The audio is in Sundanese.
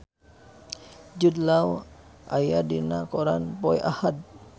Jude Law aya dina koran poe Ahad